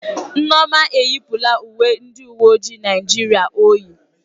Nneoma eyipụla uwe ndị uwe ojii Naịjirịa o yi.